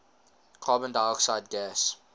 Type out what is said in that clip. carbon dioxide gas